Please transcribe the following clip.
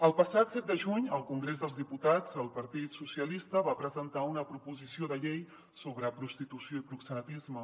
el passat set de juny al congrés dels diputats el partit socialista va presentar una proposició de llei sobre prostitució i proxenetisme